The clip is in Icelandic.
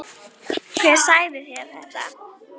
Hver sagði þér þetta?